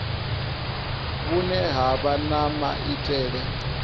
vhune ha vha na maitele